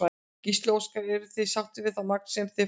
Gísli Óskarsson: Eruð þið sáttir við það magn sem þið fáið?